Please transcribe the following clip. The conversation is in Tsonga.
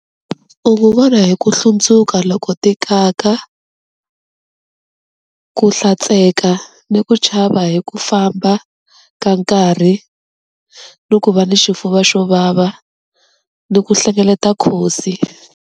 U n'wu vona hi ku hlundzuka loko tikaka, ku hlantsweka ni ku chava hi ku famba ka nkarhi ni ku va ni xifuva xo vava ni ku hlengeleta khodzi.